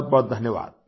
बहुत बहुत धन्यवाद